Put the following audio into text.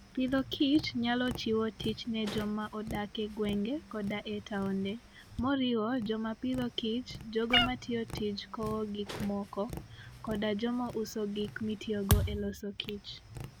Agriculture and Food nyalo chiwo tich ne joma odak e gwenge koda e taonde, moriwo joma Agriculture and Food, jogo matiyo tij kowo gik moko, koda joma uso gik mitiyogo e loso kich.